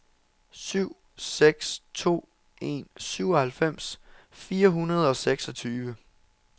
syv seks to en syvoghalvfems fire hundrede og seksogtyve